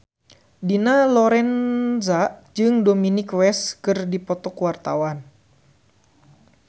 Dina Lorenza jeung Dominic West keur dipoto ku wartawan